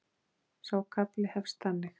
Sá kafli hefst þannig